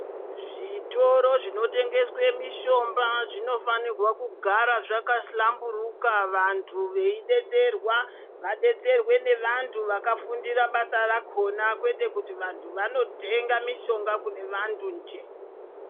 Zvitoro zvinotengeswe mishomba zvinofanirwa kugara zvakahlamburuka, vantu veidetserwa, vadetserwe nevantu vakafundira basa rakhona kwete kuti vantu vanotenga mishonga kune vantu njee.